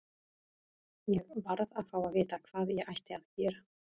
Ég varð að fá að vita hvað ég ætti að gera.